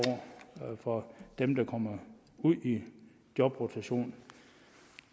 for dem der kommer ud i jobrotation